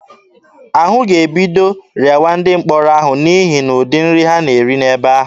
Ahụ ga-ebido rịawa ndị mkpọrọ ahụ n'ihi na ụdị nri ha na-eri ebe ahụ.